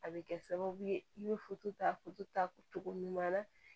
A bɛ kɛ sababu ye i bɛ ta ta cogo ɲuman na